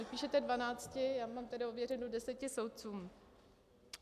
Vy píšete dvanácti, já mám tedy ověřeno deseti soudcům.